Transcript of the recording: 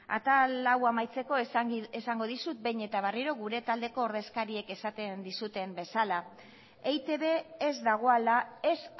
atal hau amaitzeko esango dizut behin eta berriro gure taldeko ordezkariek esaten dizuten bezala eitb ez dagoela ez